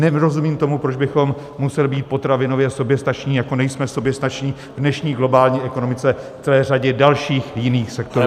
Nerozumím tomu, proč bychom museli být potravinově soběstační, jako nejsme soběstační v dnešní globální ekonomice v celé řadě dalších jiných sektorů.